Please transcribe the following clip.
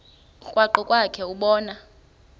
krwaqu kwakhe ubone